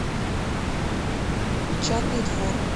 печатный двор